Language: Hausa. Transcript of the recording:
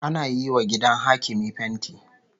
Ana yiwa gidan hakimi fenti